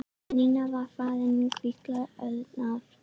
Þegar Nína var farin hvíslaði Örn að